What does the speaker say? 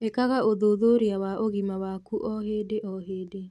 ĩkaga ũthuthurĩa wa ũgima waku o hĩndĩ o hĩndĩ